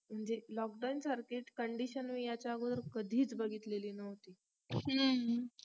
म्हणजेच lockdown सारखीच condtion ही ह्याच्या अगोदर कधीच बघितलेली नव्हती